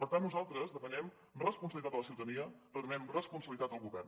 per tant nosaltres demanem responsabilitat a la ciutadania demanem responsabilitat al govern